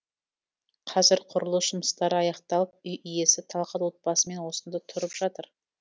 қазір құрылыс жұмыстары аяқталып үй иесі талғат отбасымен осында тұрып жатыр